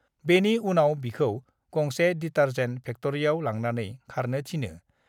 बेनि उनाव बिखौ गंसे डिटारजेन्ट फेक्ट्रीयाव लांनानै खारनों थिनो।